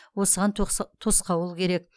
осыған тосқауыл керек